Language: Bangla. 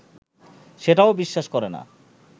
সেটাও বিশ্বাস করে না